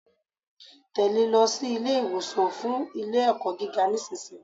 Tèlé e lọ sí Ilé ìwòsàn fun Ilé ẹ̀kọ́ gíga nísìnyí